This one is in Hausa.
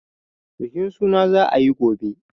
Bukin suna za a yi gobe.